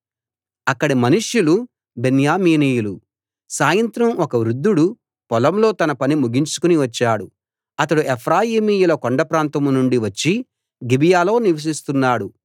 అక్కడి మనుష్యులు బెన్యామీనీయులు సాయంత్రం ఒక వృద్ధుడు పొలంలో తన పని ముగించుకుని వచ్చాడు అతడు ఎఫ్రాయిమీయుల కొండ ప్రాంతం నుండి వచ్చి గిబియాలో నివసిస్తున్నాడు